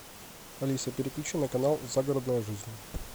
алиса переключи на канал загородная жизнь